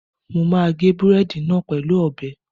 Mo máa gé búrẹ́dì náà pẹ̀lú ọ̀bẹ